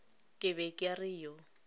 ke be ke re yo